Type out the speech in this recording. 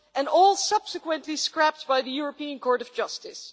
And all subsequently scrapped by the European Court of Justice.